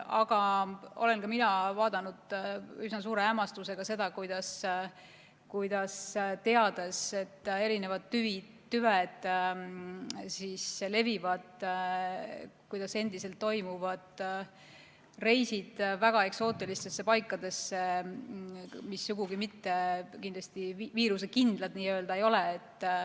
Aga olen ka mina vaadanud üsna suure hämmastusega seda, teades, et erinevad tüved levivad, kuidas endiselt toimuvad reisid väga eksootilistesse paikadesse, mis sugugi mitte viirusekindlad ei ole.